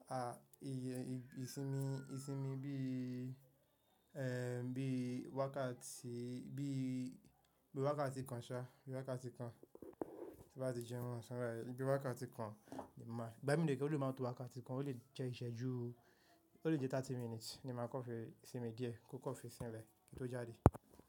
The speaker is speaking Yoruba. Ah ìsinmi bíi, ẹ́, bíi wákàtí kan ṣa, bíi wákàtí kan tí n bá ti jẹun ọ̀san ẹ̀, bíi wákàtí kan ni màá ìgbà míì dẹ̀ kẹ̀ rèé ó lè máa tó wákàtí kan, ó lè jẹ́ ìṣẹ́jú, ó lè jẹ́ 30 minutes ni màá kàn fi sinmi díẹ̀ kó kàn fi sinlẹ̀ kí n tó jáde.